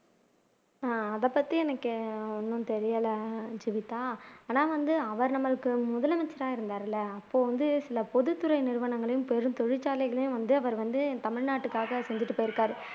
அதைப்பத்தி எனக்கு ஒன்னும் தெரியல ஜீவிதா ஆனா வந்து அவர் நம்மளுக்கு முதலமைச்சரா இருந்தார் இல்ல அப்போ வந்து சில பொதுத்துறை நிறுவனங்களையும் பெரும் தொழிற்சாலைகளையும் வந்து அவர் வந்து தமிழ் நாட்டுக்காக செஞ்சுட்டு போயிருக்கார்